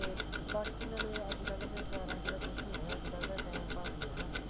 ਤੇ ਬਾਕੀ ਨਾਲੇ ਅੱਜਕਲ ਦੇ ਪਿਆਰਾ ਚ ਤਾ ਕੁਝ ਨਹੀ ਹੈਗਾ ਅੱਜਕਲ ਤਾ time pass ਹੀ ਆ ਹੈਨਾ